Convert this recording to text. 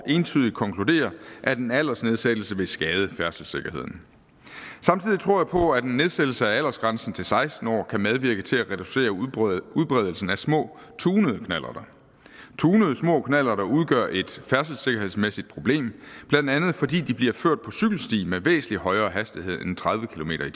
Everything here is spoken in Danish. entydigt konkluderer at en aldersnedsættelse vil skade færdselssikkerheden samtidig tror jeg på at en nedsættelse af aldersgrænsen til seksten år kan medvirke til at reducere udbredelsen af små tunede knallerter tunede små knallerter udgør et færdselssikkerhedsmæssigt problem blandt andet fordi bliver ført på cykelstien med væsentlig højere hastighed end tredive kilometer